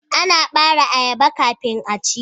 Ana bare ayaba kafin a ci.